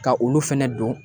Ka olu fɛnɛ don